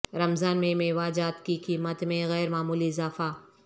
رمضان میں میوہ جات کی قیمت میں غیر معمولی اضافہ